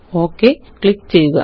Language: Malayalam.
ഒക് ക്ലിക്ക് ചെയ്യുക